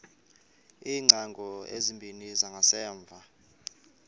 iingcango ezimbini zangasemva